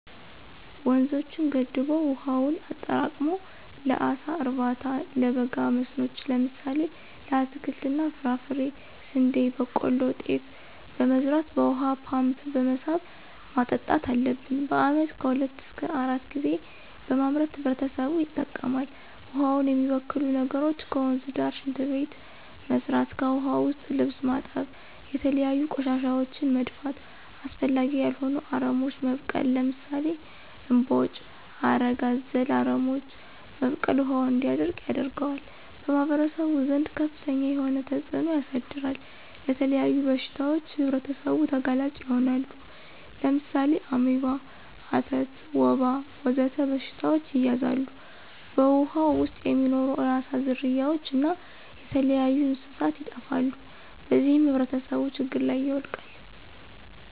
ወንዞችን ገድቦ ዉሀውን አጠራቅሞ ለአሳ እርባታ፣ ለበጋ መስኖዎች ለምሳሌ ለአትክልት እና ፍራፍሬ፣ ስንዴ፣ በቆሎ፣ ጤፍ በመዝራት በውሃ ፓምፕ በመሳብ ማጠጣት አለብን። በአመት ከሁለት እሰከ አራት ጊዜ በማምረት ህብረተሰቡ ይጠቀማል። ውሃውን የሚበክሉ ነገሮች ከወንዝ ዳር ሽንት ቤት መስራት። ከዉሀ ዉስጥ ልብስ ማጠብ፣ የተለያዩ ቆሻሻወችን መድፋት፣ አስፈላጊ ያልሆኑ አረሞች መብቀል ለምሳሌ እምቦጭ፣ ሀረግ አዘል አረሞች መብቀል ውሀው እንዲደርቅ ያደርጋል። በማህበረሰቡ ዘንድ ከፍተኛ የሆነ ተፅእኖ ያሳድራል። ለተለያዩ በሽታዎች ህብረተሰቡ ተጋላጭ ይሆናሉ። ለምሳሌ አሜባ፣ አተት፣ ወባ ወዘተ በሽታዎች ይያዛሉ። በውሃው ዉስጥ የሚኖሩ የአሳ ዝርያዎች እና የተለያዩ እንስሳት ይጠፋሉ። በዚህም ህብረተሰቡ ችግር ላይ ይወድቃል።